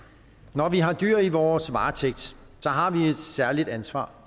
når vi har dyr i vores varetægt har vi et særligt ansvar